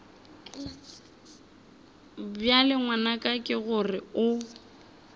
bjale ngwanaka ke gore o